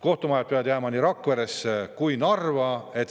Kohtumaja peab jääma ka nii Rakveresse kui Narva.